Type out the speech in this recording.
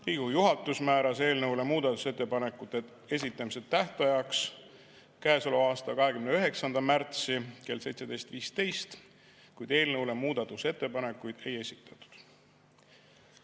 Riigikogu juhatus määras eelnõu muudatusettepanekute esitamise tähtajaks 29. märtsi kell 17.15, kuid eelnõu kohta muudatusettepanekuid ei esitatud.